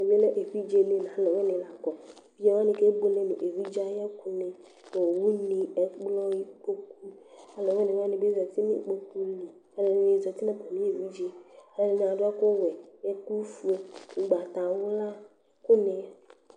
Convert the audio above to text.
Ɛmɛlɛ evidzeni nʋ alʋwinini lakɔ, ake buele nʋ evidze ayʋ ɛkʋ ni, owʋni, ɛkplɔni, ikpokʋni, alʋwini wabi zati nʋ ikpokʋli ɛdini zati nʋ atami evidze kʋ ɛdini adʋ ɔwɛ, ɛkʋfue, ʋgbatawla, ɛkʋni